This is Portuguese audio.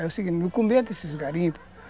É o seguinte, não começo desses garimpo.